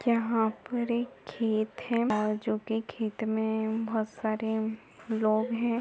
यहां पर एक खेत है जो की खेत में बहोत सारे लोग है।